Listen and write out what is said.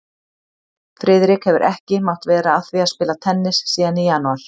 Friðrik hefur ekki mátt vera að því að spila tennis síðan í janúar